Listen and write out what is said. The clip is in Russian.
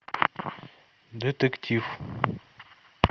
детектив